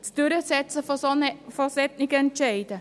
Das Durchsetzen solcher Entscheide?